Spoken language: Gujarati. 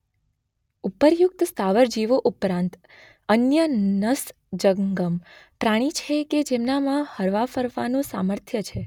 ઉપર્યુકત સ્થાવર જીવો ઉપરાંત અન્ય ન્નસ જંગમ પ્રાણી છે કે જેમના માં હરવા ફરવા નું સામર્થ્ય છે.